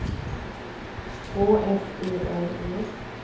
Å S E L E